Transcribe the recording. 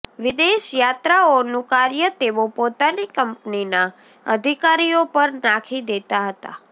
વિદેશ યાત્રાઓનું કાર્ય તેઓ પોતાની કંપનીના અધિકારીઓ પર નાંખી દેતા હતા